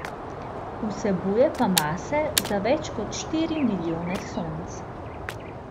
Vsebuje pa mase za več kot štiri milijone Sonc.